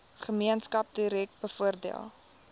gemeenskap direk bevoordeel